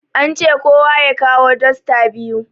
An ce kowa ya kawo dosta biyu